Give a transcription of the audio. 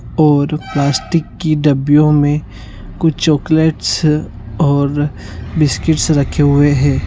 और प्लास्टिक की डबियो में कुछ चॉक्लेटस और बिस्किटस रखे हुए है।